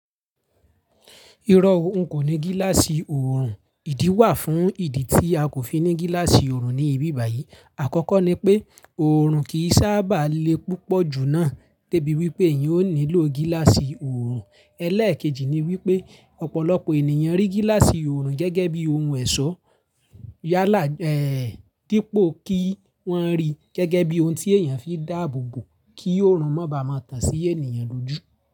Irọ́ ohun kò ní gíláàsì oòrùn, ìdí wà fún ìdí tí a kò fi ní gíláàsì oòrùn ní ibi báyìí. Àkọ́kọ́ ni pé oòrùn kì í sábà le púpọ̀ jù náà de bí wípé èèyàn ó nílò gíláàsì oòrùn. Ẹ̀lẹ́ẹ̀kejì ni wípé ọ̀pọ̀lọpọ̀ ènìyàn rí gíláàsì oòrùn gẹ́gẹ́ bí ohun ẹ̀sọ́. Yálà kípo kí wọ́n rí gẹ́gẹ́ bí ohun tí èèyàn fi dáàbò bo kí oòrùn má ba à má tàn sí ènìyàn l'ójú.